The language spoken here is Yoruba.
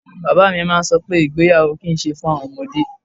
Bàbá mi máa ń sọ pé ìgbéyàwó kì í ṣe fún àwọn ọmọdé.